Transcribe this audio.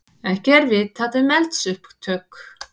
Ekki er vitað um eldsupptök